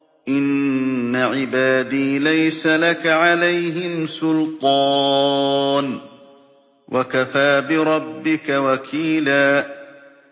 إِنَّ عِبَادِي لَيْسَ لَكَ عَلَيْهِمْ سُلْطَانٌ ۚ وَكَفَىٰ بِرَبِّكَ وَكِيلًا